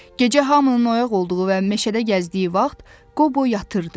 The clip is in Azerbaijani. Gecə hamının oyaq olduğu və meşədə gəzdiyi vaxt Qobo yatırdı.